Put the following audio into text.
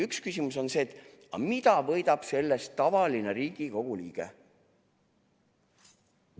Üks küsimus on see, et mida võidab sellest tavaline Riigikogu liige.